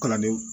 Kalandenw